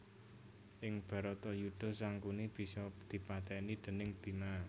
Ing Bharatayudha Sangkuni bisa dipatèni déning Bima